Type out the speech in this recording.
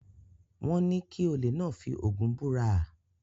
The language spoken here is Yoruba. Wọ́n ní kí olè náà fi Ògún búra?